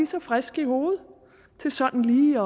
så friske i hovedet til sådan lige